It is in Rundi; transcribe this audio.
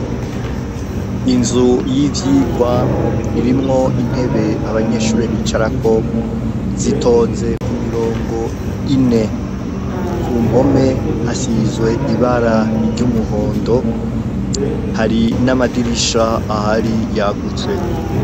inzu y'ivyigwa irimwo intebe abanyeshuri bicarako zitonze ku mirongo ine kumpome hasizwe ibara ry'umuhondo hari n'amadirisha ahari yagutse